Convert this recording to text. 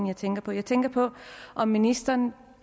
jeg tænker på jeg tænker på om ministeren